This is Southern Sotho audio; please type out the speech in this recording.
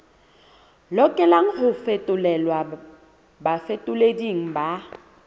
lokelang ho fetolelwa bafetoleding ba